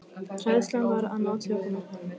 Hræðslan var að ná tökum á honum.